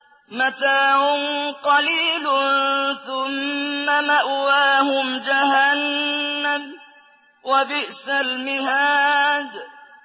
مَتَاعٌ قَلِيلٌ ثُمَّ مَأْوَاهُمْ جَهَنَّمُ ۚ وَبِئْسَ الْمِهَادُ